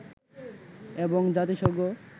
এবং জাতিসংঘ